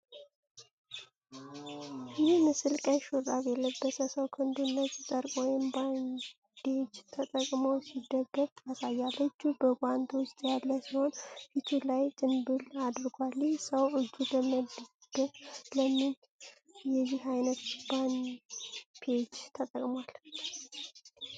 ይህ ምስል ቀይ ሹራብ የለበሰ ሰው ክንዱን ነጭ ጨርቅ ወይም ባንዴጅ ተጠቅሞ ሲደግፍ ያሳያል። እጁ በጓንት ውስጥ ያለ ሲሆን፣ ፊቱ ላይ ጭንብል አድርጓል፤ ይህ ሰው እጁን ለመድገፍ ለምን የዚህ አይነት ባንዴጅ ተጠቅሟል?